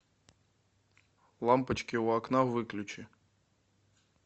лампочки у окна выключи